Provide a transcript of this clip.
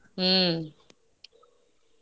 ಹ್ಮ್.